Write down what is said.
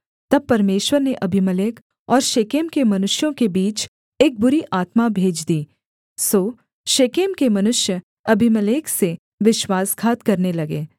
तब परमेश्वर ने अबीमेलेक और शेकेम के मनुष्यों के बीच एक बुरी आत्मा भेज दी सो शेकेम के मनुष्य अबीमेलेक से विश्वासघात करने लगे